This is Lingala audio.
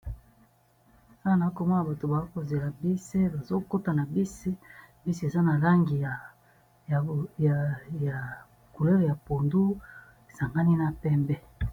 Awa nazomona bato batelemi bazo zela bisi bazokota nakati ya bus bus oyo eza na langi ya ya mai pondu esangani na pembe